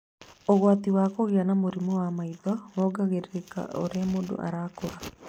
Ũgwati wa kũgĩa na mũrimũ wa maitho wongererekaga o ũrĩa mũndũ arakũra.